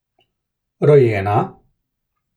Rojena?